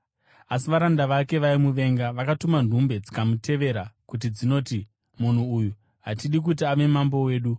“Asi varanda vake vaimuvenga vakatuma nhume dzikamutevera kuti dzinoti, ‘Munhu uyu hatidi kuti ave mambo wedu.’